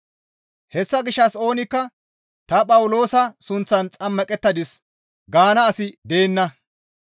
Hessa gishshas oonikka, «Ta Phawuloosa sunththan xammaqettadis» gaana asi deenna.